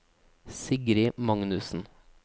Sigrid Magnussen